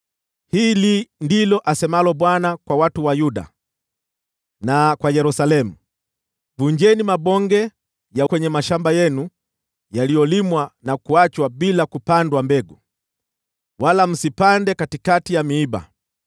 Hili ndilo asemalo Bwana kwa watu wa Yuda na kwa Yerusalemu: “Vunjeni mabonge kwenye mashamba yenu, wala msipande katikati ya miiba.